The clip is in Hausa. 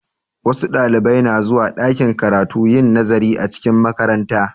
Wasu Ɗalibai na zuwa ɗakin karatu yin nazari a cikin makaranta